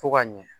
Fo ka ɲɛ